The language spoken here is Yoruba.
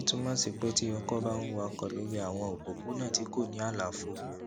èyí túmọ sí pé tí ọkọ bá ń wakò lórí àwọn òpópónà tí kò ní àlàfo